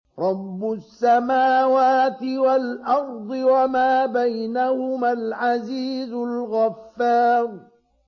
رَبُّ السَّمَاوَاتِ وَالْأَرْضِ وَمَا بَيْنَهُمَا الْعَزِيزُ الْغَفَّارُ